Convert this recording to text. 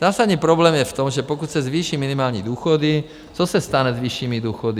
Zásadní problém je v tom, že pokud se zvýší minimální důchody, co se stane s vyššími důchody?